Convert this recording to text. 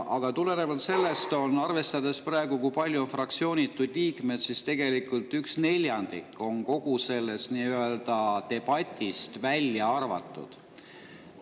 Aga tulenevalt sellest, kui palju on praegu fraktsioonituid liikmeid, siis tegelikult üks neljandik on kogu sellest debatist nii-öelda välja arvatud.